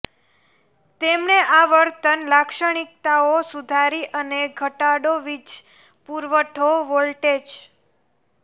તેમણે આવર્તન લાક્ષણિકતાઓ સુધારી અને ઘટાડો વીજ પુરવઠો વોલ્ટેજ